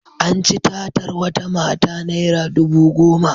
An ci tatar wata mata naira dubu goma.